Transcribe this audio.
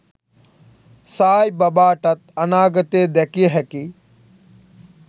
සායි බබාටත් අනාගතය දැකිය හැකි